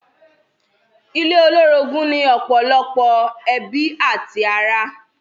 Ilé olórogún ni ọ̀pọ̀lọpọ̀ ẹbí àti ará.